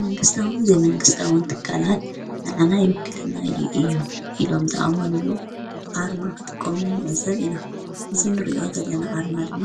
መንግሥታውን ዘይመንግሥታውን ትካላት ንኣና ይውክለናዩ እዩ ኢሎም ዝኣሞኑሉ ኣርማ ኽጥቆም ምዕዘብ ኢኖ ዝንርእዮ ዘለና ኣርማ ድማ